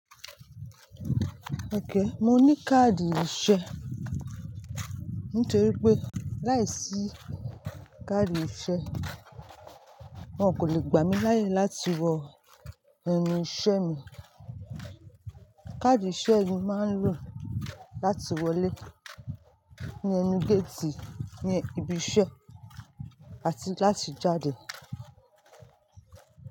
Okay, mo ní káàdì iṣẹ́. Nítorí pé láìsí káàdì iṣẹ́, wọ́n kò lè gbà mí láàyè láti wọ ẹnu iṣẹ́ mi. Káàdì iṣẹ́ ni máa ń lò láti wọlé ní ẹnu géètì ní ibi iṣẹ́ àti láti jáde.